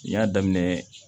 N y'a daminɛ